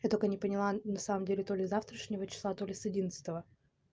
я только не поняла на самом деле то ли с завтрашнего числа то ли с одиннадцатого